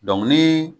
ni